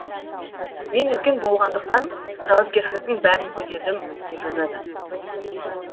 мен үлкен болғандықтан жауапкершіліктің бәрін көтердім деп жазады